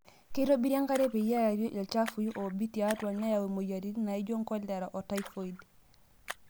Keitobiri enkare petie eari ilchafui oobik tiatwaa neyau moyiaritin naijio kolera otaifoid.